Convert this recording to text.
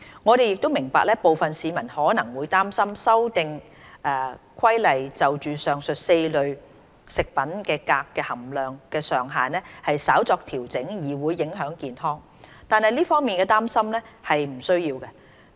我們亦明白部分市民可能會擔心《修訂規例》就上述4類食品鎘的含量上限稍作調整，對健康會造成影響，但這方面的擔心並不需要。